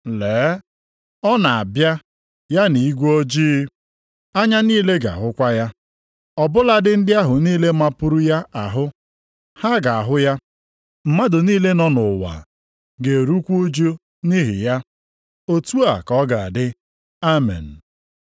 “Lee, ọ na-abịa ya na igwe ojii. + 1:7 \+xt Dan 7:13\+xt* Anya niile ga-ahụkwa ya, ọ bụladị ndị ahụ niile mapuru ya ahụ, ha ga-ahụ ya.” + 1:7 \+xt Zek 12:10\+xt* Mmadụ niile nọ nʼụwa “ga-erukwa ụjụ nʼihi ya.” Otu a ka ọ ga-adị! Amen.